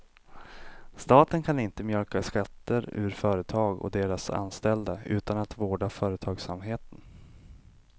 Staten kan inte mjölka skatter ur företag och deras anställda utan att vårda företagsamheten.